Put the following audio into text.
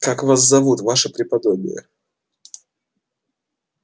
как вас зовут ваше преподобие